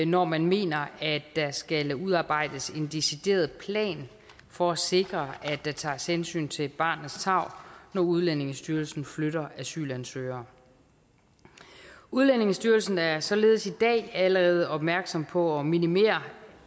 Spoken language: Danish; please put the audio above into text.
når man mener at der skal udarbejdes en decideret plan for at sikre at der tages hensyn til barnets tarv når udlændingestyrelsen flytter asylansøgere udlændingestyrelsen er således i dag allerede opmærksom på at minimere